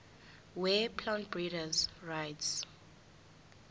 weplant breeders rights